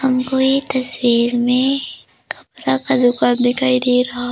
हमको ये तस्वीर में कपरा का दुकान दिखाई दे रहा।